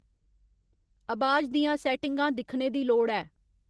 अबाज दियां सैट्टिंगां दिक्खने दी लोड़ ऐ